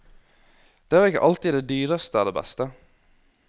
Det er vel ikke alltid det dyreste er det beste.